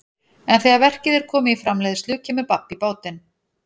En þegar verkið er komið í framleiðslu kemur babb í bátinn.